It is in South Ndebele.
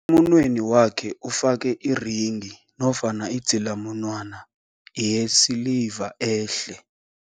Emunweni wakhe ufake irenghi nofana idzilamunwana yesiliva ehle.